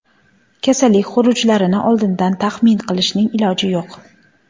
Kasallik xurujlarini oldindan taxmin qilishning iloji yo‘q.